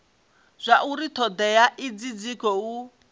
zwauri thodea idzi dzi khou